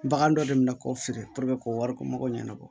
Bagan dɔ de bɛ na k'o feere k'o wari ko mago ɲanabɔ